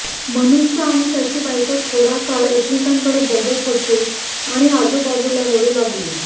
मनुष्य आणि त्याची बायको थोडा काळ एकमेकांकडे बघत होते आणि आजूबाजूला रडू लागली